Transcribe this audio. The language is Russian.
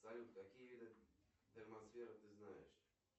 салют какие виды термосферы ты знаешь